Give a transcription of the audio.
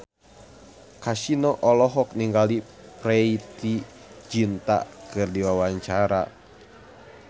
Kasino olohok ningali Preity Zinta keur diwawancara